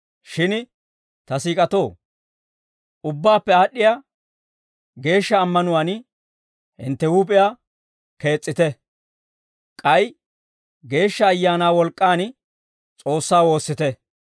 Shin ta siik'atoo, ubbaappe aad'd'iyaa geeshsha ammanuwaan hintte huup'iyaa kees's'ite; k'ay Geeshsha Ayaanaa wolk'k'aan S'oossaa woossite.